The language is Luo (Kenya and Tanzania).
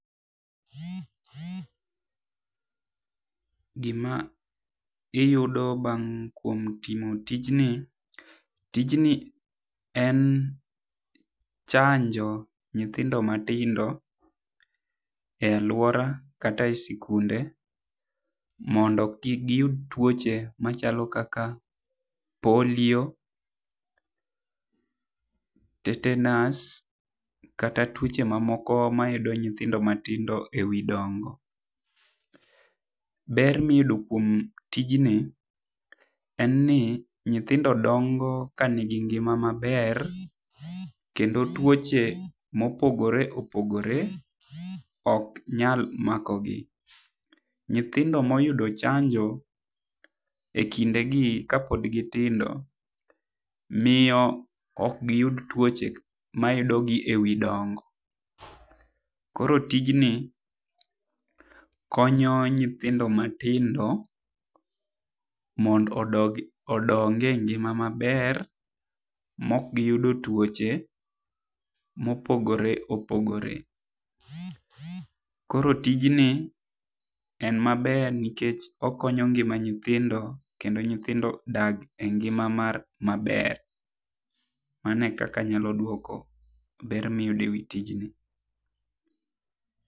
Gi ma iyudo bang' kuom timo tij ni , tijni en chanjo nyithindo ma tindo e aluora kata e sikunde mondo kik gi yud tuoche machalo kaka polio, tetenus kata tuoche ma moko ma yudo nyithindo matindo e wi dongo. Ber mi iyudo kuom tijni en ni nyithindo dongo ka ni gi ngima ma ber kendo tuoche ma opogore opogore ok nyal mako gi. Nyithindo ma oyudo chanjo e kinde gi ka pod gi tindo miyo ok gi yud tuoche ma yudo gi e wi dongo. Koro tijni konyo nyithindo matindo mondo odog odong e ngima maber ma ok gi yudo tuoche mo opogore opogore. Koro tijjni en ma ber nikech okonyo ngima nyithindo kendo nyithindo dak e ngima mar ma ber. Mano kaka anya dwoko ber mi iyudo e tijni.